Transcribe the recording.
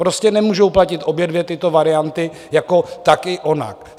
Prostě nemůžou platit obě dvě tyto varianty jako tak i onak.